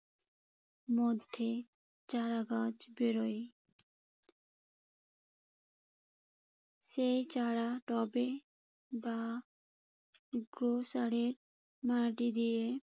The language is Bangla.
মধ্যে চারা গাছ বেরোয়। সেই চারা টবে বা এর মাটি দিয়ে